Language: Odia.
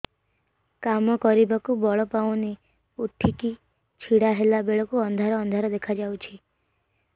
କାମ କରିବାକୁ ବଳ ପାଉନି ଉଠିକି ଛିଡା ହେଲା ବେଳକୁ ଅନ୍ଧାର ଅନ୍ଧାର ଦେଖା ଯାଉଛି